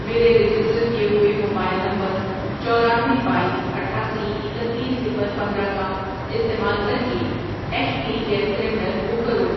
میرے رجسٹر کیے ہوئے موبائل نمبر چورانوے، بایس، اٹھاسی، اکتیس، صفر، پندرہ کا استعمال کرکے H P gas cylinder book کرو۔